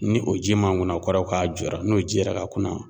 Ni o ji man ŋuna o kɔrɔ ye k'a jɔra n'o ji yɛrɛ ka kunna